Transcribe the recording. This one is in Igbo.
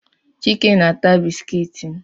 Chike na-ata bisikiiti m